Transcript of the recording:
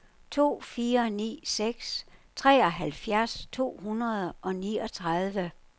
to fire ni seks treoghalvfjerds to hundrede og niogtredive